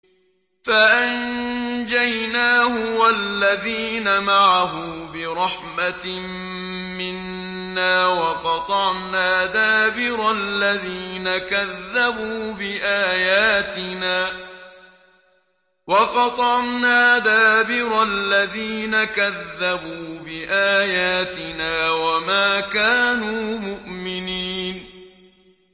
فَأَنجَيْنَاهُ وَالَّذِينَ مَعَهُ بِرَحْمَةٍ مِّنَّا وَقَطَعْنَا دَابِرَ الَّذِينَ كَذَّبُوا بِآيَاتِنَا ۖ وَمَا كَانُوا مُؤْمِنِينَ